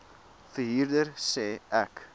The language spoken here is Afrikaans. verhuurder sê ek